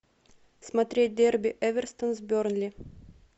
смотреть дерби эвертон с бернли